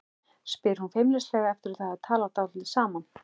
spyr hún feimnislega eftir að þau hafa talað dálítið saman.